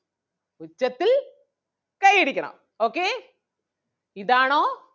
ഒച്ചത്തിൽ കയ്യടിക്കണം okay ഇതാണോ?